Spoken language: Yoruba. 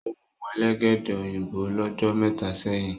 o mú Elégédé òyìnbó l'ojo méta sẹyìn.